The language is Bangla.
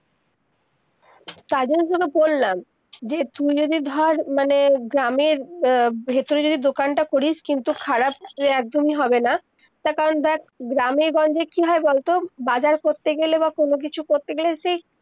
তাই জন্য তো বললাম, যে তুই যদি ধর, মানে গ্রামের উম ভিতরে যদি দোকান তা করিস, কিন্তু খারাপ একদমি হবেনা, তা কারণ দেখ গ্রামের-গঞ্জে কি হয় বল তো বাজার করতে গেলে বা কোনো কিছু করতে গেলে সেই-